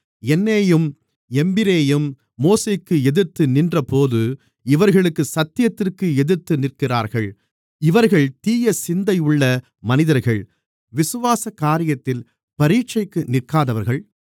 யந்நேயும் யம்பிரேயும் மோசேக்கு எதிர்த்துநின்றதுபோல இவர்களும் சத்தியத்திற்கு எதிர்த்துநிற்கிறார்கள் இவர்கள் தீய சிந்தையுள்ள மனிதர்கள் விசுவாச காரியத்தில் பரீட்சைக்கு நிற்காதவர்கள்